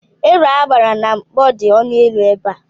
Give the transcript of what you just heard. Ero agbara na mkpọ dị ọnụ élú ebe a.